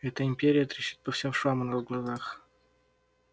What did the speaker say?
эта империя трещит по всем швам у нас на глазах